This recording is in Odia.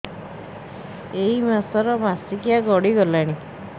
ଏଇ ମାସ ର ମାସିକିଆ ଗଡି ଗଲାଣି